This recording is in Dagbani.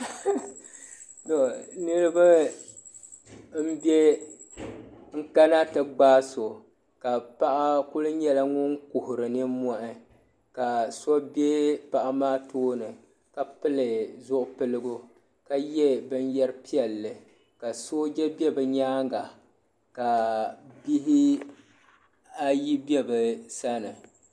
Niriba n kana ti gbaagi so ka paɣa kuli nyɛla ŋun kuhiri ninmohi ka so be paɣa maa tooni ka pili zipiligu ka ye binyeri piɛlli ka sooja be bɛ nyaanga ka bihi ayi be bɛ sani.